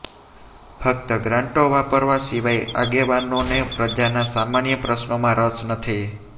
ફક્ત ગ્રાન્ટો વાપરવા સિવાય આગેવાનોને પ્રજાના સામાન્ય પ્રશ્નોમાં રસ નથી